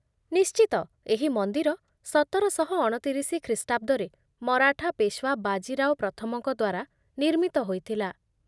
ନିଶ୍ଚିତ, ଏହି ମନ୍ଦିର ସତରଶହ ଅଣତିରିଶି ଖ୍ରୀଷ୍ଟାବ୍ଦରେ ମରାଠା ପେଶୱା ବାଜି ରାଓ ପ୍ରଥମଙ୍କ ଦ୍ୱାରା ନିର୍ମିତ ହୋଇଥିଲା।